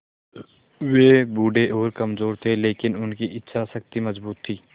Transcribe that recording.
वे बूढ़े और कमज़ोर थे लेकिन उनकी इच्छा शक्ति मज़बूत थी